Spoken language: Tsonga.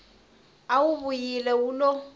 a wu vuyile wu lo